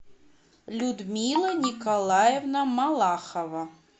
людмила николаевна малахова